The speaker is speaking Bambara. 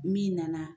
Min nana